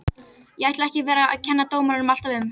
Ég ætla ekki að vera að kenna dómaranum alltaf um.